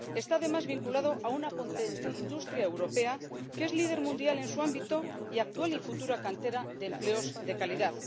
Está además vinculado a una potente industria europea que es líder mundial en su ámbito y actual y futura cantera de empleos de calidad.